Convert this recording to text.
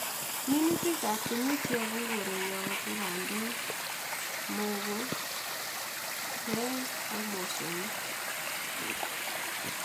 Minutik ab kenyit cheyobu koreng'wong ko bandek, muogo, peng ak mosongik